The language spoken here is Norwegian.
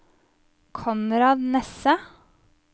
Konrad Nesse